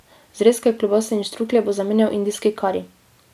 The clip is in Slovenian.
Zrezke, klobase in štruklje bo zamenjal indijski kari.